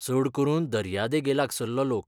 चड करून दर्यादेगेलागसल्लो लोक.